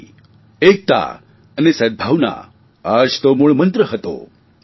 શાંતિ એકતા અને સદભાવના આ જ તો મૂળમંત્ર હતો